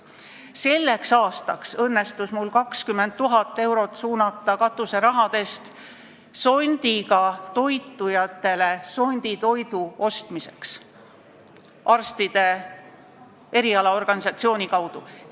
Selleks aastaks õnnestus mul 20 000 eurot katuserahadest suunata sondiga toitujatele sonditoidu ostmiseks arstide erialaorganisatsiooni kaudu.